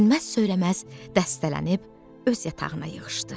Dinməz-söyləməz dəstələnib öz yatağına yığışdı.